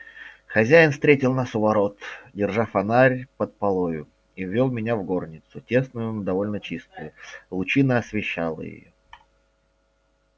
хозяин встретил нас у ворот держа фонарь под полою и ввёл меня в горницу тесную но довольно чистую лучина освещала её